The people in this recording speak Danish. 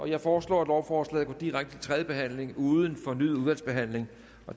jeg foreslår at lovforslaget går direkte til tredje behandling uden fornyet udvalgsbehandling